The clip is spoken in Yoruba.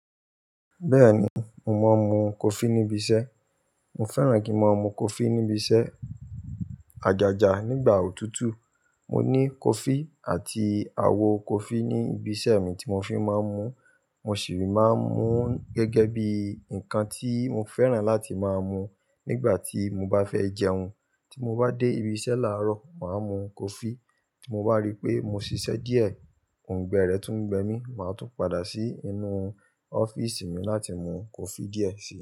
Bẹ́ẹ̀ni, mo máa ń mu coffee níbi iṣẹ́. Mo fẹ́ràn kí n máa mu coffee níbi iṣẹ́. Ajaja nígbà òtútù. Mo ní coffee àti àwo coffee ní ibi iṣẹ́ mi tí mo fi máa ń mu. Mo sìi máa ń mu gẹ́gẹ́ bí nǹkan tí mo fẹ́ràn láti máa mu nígbà tí mo bá fẹ́ jẹun. Tí mo bá dé ibi iṣẹ́ láàárọ̀, màá mu coffee. Tí mo bá rí pé mo ṣiṣẹ́ díẹ̀, òungbẹ rẹ̀ tún gbẹ mí, màá tún padà sí inú ọ́fíìsì mi láti mu coffee díẹ̀ sí.